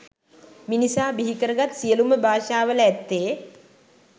මිනිසා බිහිකරගත් සියලුම භාෂාවල ඇත්තේ